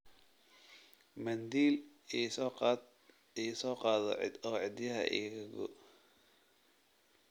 Mandiil ii soo qaado oo cidiiyaha iga goo